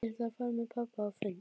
Ég ætla að fara með pabba á fund,